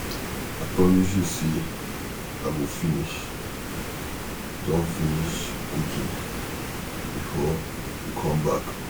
I promise you say I go finish don finish cooking before you come back